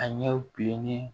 A ɲɛw bilennen